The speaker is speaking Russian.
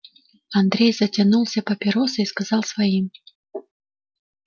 андрей затянулся папиросой и сказал своим